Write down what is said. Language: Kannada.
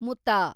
ಮುತಾ